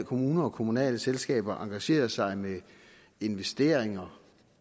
kommuner og kommunale selskaber engagere sig med investeringer